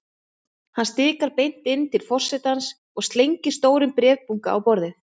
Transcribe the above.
Hann stikar beint inn til forsetans og slengir stórum bréfabunka á borðið.